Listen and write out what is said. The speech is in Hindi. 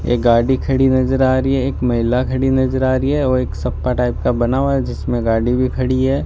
एक गाड़ी खड़ी नजर आ रही है एक महिला खड़ी नजर आ रही है और एक सपा टाइप का बना हुआ है जिसमें गाड़ी भी खड़ी है।